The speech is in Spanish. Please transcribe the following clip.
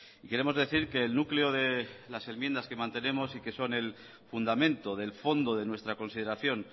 queremos decir que el núcleo de las enmiendas que mantenemos y que son el fundamento del fondo de nuestra consideración